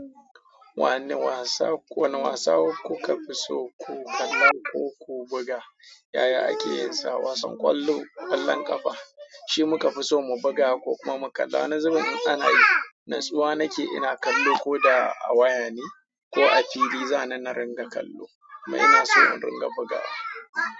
Wane wasa, wanne wasa kuka fi so ku kalla ko ku buga? Yaya ake yin sa wasan kwallo, kwallon ƙafa, shi muka fi so mu buga ko kuma mu kalla. Wani zubin in ana yi, natsuwa nake ina kallo ko da a waya ne ko a fili, zana na ringa kallo kuma ina so in ringa bugawa.